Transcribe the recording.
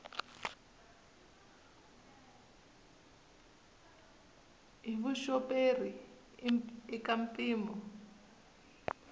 hi vuxoperi i ka mpimo